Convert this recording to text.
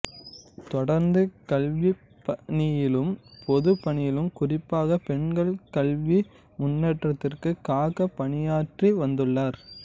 தொடர்ந்து கல்விப் பணியிலும் பொதுப் பணியிலும் குறிப்பாக பெண்கள் கல்வி முன்னேற்றத்திற்காகப் பணியாற்றி வந்துள்ளார்